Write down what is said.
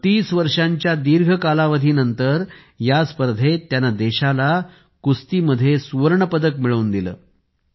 32 वर्षांच्या दीर्घ कालावधीनंतर या स्पर्धेत त्याने देशाला कुस्तीमध्ये सुवर्णपदक मिळवून दिले